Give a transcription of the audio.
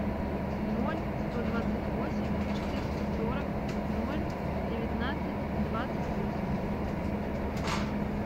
ноль сто двадцать восемь четыреста сорок ноль девятнадцать двадцать восемь